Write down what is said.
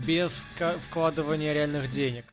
без вка вкладывания реальных денег